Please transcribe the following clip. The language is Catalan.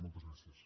moltes gràcies